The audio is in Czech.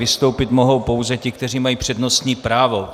Vystoupit mohou pouze ti, kteří mají přednostní právo.